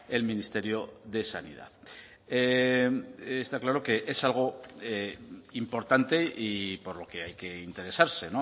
el ministerio de sanidad está claro que es algo importante y por lo que hay que interesarse